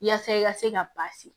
Yaasa i ka se ka baasi